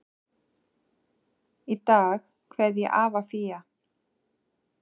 Í dag kveð ég afa Fía.